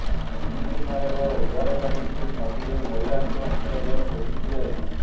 ତିନିଦିନ ହେବ ଉଦ୍ଧାରକାରୀ ଟିମ୍ ନଦୀରେ ମହିଳାଙ୍କ ମୃତଦେହ ଖୋଜି ଥିଲେ